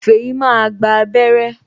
Feyi máa gba abere